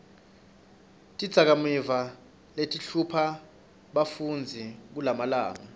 tidzakamiva letihlupha bafundzi kulamalanga